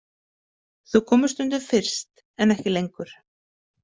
Þau komu stundum fyrst en ekki lengur.